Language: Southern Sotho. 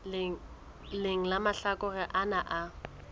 leng la mahlakore ana a